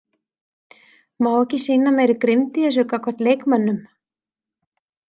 Má ekki sýna meiri grimmd í þessu gagnvart leikmönnum?